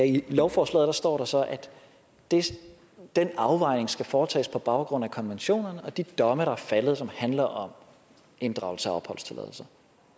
i lovforslaget står der så at den afvejning skal foretages på baggrund af konventionerne og de domme der er faldet som handler om inddragelse af opholdstilladelse